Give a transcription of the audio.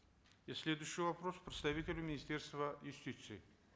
и следующий вопрос представителю министерства юстиции